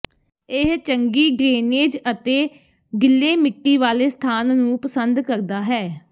ਇਹ ਚੰਗੀ ਡਰੇਨੇਜ ਅਤੇ ਗਿੱਲੇ ਮਿੱਟੀ ਵਾਲੇ ਸਥਾਨ ਨੂੰ ਪਸੰਦ ਕਰਦਾ ਹੈ